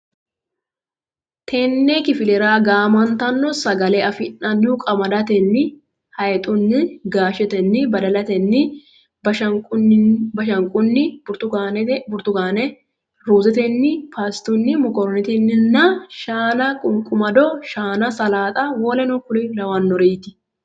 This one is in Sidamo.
Tenne kifilera gaamantanno sagale afi nannihu qamadetenni hayxunni gaashetenni badalatenni bashanqunni burtukaane ruuzetenni paastunni mokoroonetenninna shaana qunqumado shaana salaaxa woluno kuri lawannorinniiti.